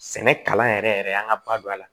Sɛnɛ kalan yɛrɛ yɛrɛ an ka ba don a la